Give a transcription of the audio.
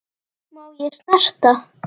Má ég snerta?